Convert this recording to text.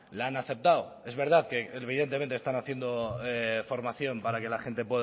la han aceptado es verdad que evidentemente están haciendo formación para que la gente